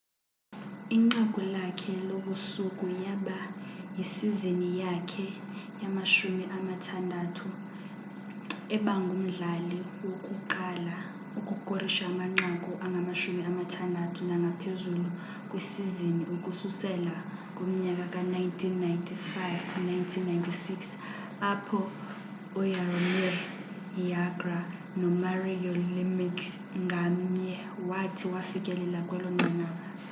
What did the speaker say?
inqaku lakhe lobusuku yaba yisizini yakhe ye 60th ebangumdlali wokuqala ukukorisha amanqaku ayi 60 nangaphezulu kwisizini ukususela ngomnyaka ka 1995-96 apho u jaromir jagr no mario lemieux ngamnye wathi wafikelela kwelonqanaba